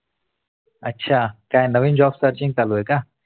अछा काय नवीन Job searching चालू आहे का?